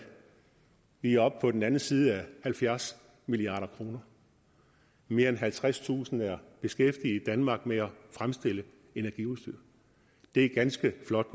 vi er oppe på den anden side af halvfjerds milliard kroner mere end halvtredstusind er beskæftiget i danmark med at fremstille energiudstyr det er ganske flot